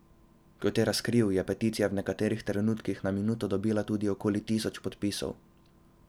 Kot je razkril, je peticija v nekaterih trenutkih na minuto dobila tudi okoli tisoč podpisov.